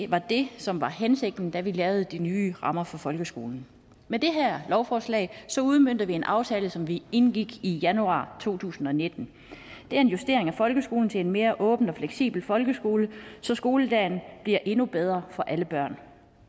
var det som var hensigten da vi lavede de nye rammer for folkeskolen med det her lovforslag udmønter vi en aftale som vi indgik i januar to tusind og nitten det er en justering af folkeskolen til en mere åben og fleksibel folkeskole så skoledagen bliver endnu bedre for alle børn